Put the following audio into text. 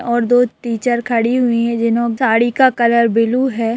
और दो टीचर खड़ी हुई हैं जिनकी साड़ी का कलर ब्लू है।